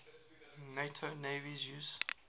nato navies use